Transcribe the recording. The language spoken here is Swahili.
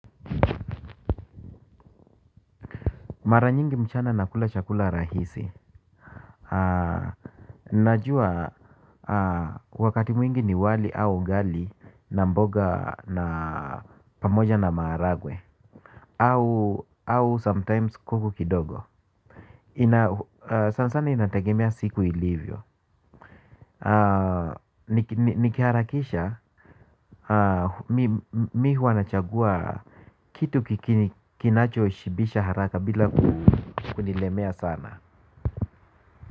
Mara nyingi mchana nakula chakula rahisi. Najua wakati mwingi ni wali au ugali na mboga na pamoja na maharagwe. Au sometimes kuku kidogo. Sana sana inategemea siku ilivyo. Nikiharakisha mi huwa nachagua kitu kinachoshibisha haraka bila kunilemea sana.